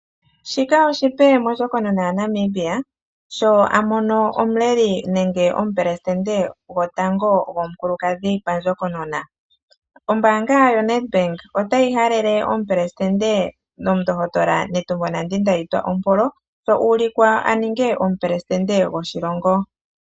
Shika oshipe mondjokonona yaNamibia sho amono omuleli nenge omupelesitende gotango gomukulukadhi pandjokonona. Ombaanga yoNEDBANK otayi halele omupelesitende omundohotola Netumbo Nandi Ndaitwah ompolo sho uulikwa a ninge omupelesitende goshilongo.